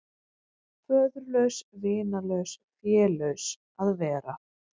Föðurlaus, vinalaus, félaus að vera.